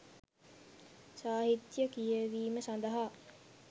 සාහිත්‍ය කියවීම සඳහා